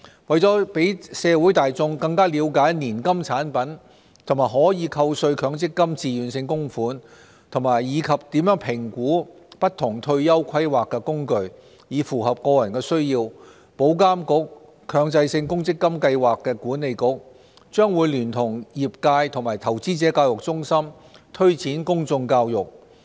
為了讓社會大眾更了解年金產品和可扣稅強積金自願性供款，以及怎樣評估不同退休規劃工具，以符合個人需要，保監局、強制性公積金計劃管理局將會聯同業界和投資者教育中心推展公眾教育。